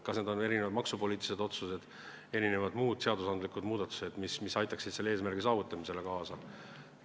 Kas need on erinevad maksupoliitilised otsused, muud seadusandlikud muudatused, mis aitaksid selle eesmärgi saavutamisele kaasa?